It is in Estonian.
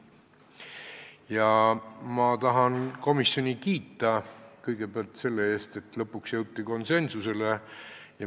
Ma tahan kõigepealt komisjoni kiita selle eest, et lõpuks jõuti konsensusele.